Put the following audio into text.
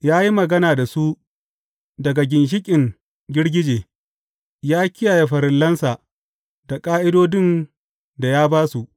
Ya yi magana da su daga ginshiƙin girgije; ya kiyaye farillansa da ƙa’idodin da ya ba su.